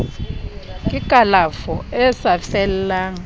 ke kalafo e sa fellang